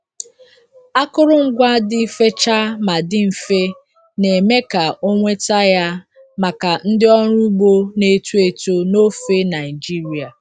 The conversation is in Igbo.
Akụrụngwa dị fechaa ma dị mfe, na-eme ka ọ nweta ya maka ndị ọrụ ugbo na-eto eto n'ofe Nigeria.